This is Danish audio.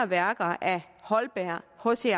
værker af holberg h c